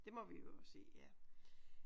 Det må vi øve os i ja